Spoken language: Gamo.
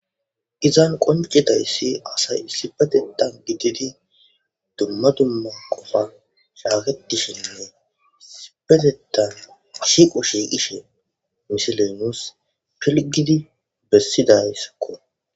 Izan qonccidaysi asay isipetethan gididi dumma dumma qofa shaketishshenne isipetethan Shiiqo shiqishe missiley nussi bessidayissakko